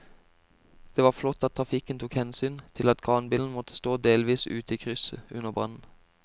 Det var flott at trafikken tok hensyn til at kranbilen måtte stå delvis ute i krysset under brannen.